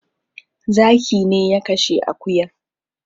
Zaki ne ya kashe akuyan